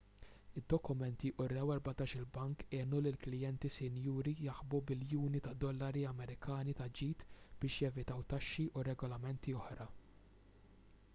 id-dokumenti wrew li erbatax-il bank għenu lill-klijenti sinjuri jaħbu biljuni ta' dollari amerikani ta' ġid biex jevitaw taxxi u regolamenti oħra